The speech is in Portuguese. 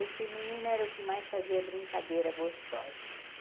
Esse menino era o que mais fazia brincadeira gostosa.